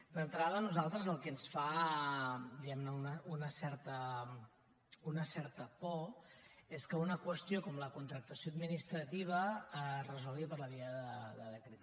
d’entrada a nosaltres el que ens fa diguemne una certa por és que una qüestió com la contractació administrativa es resolgui per la via de decret llei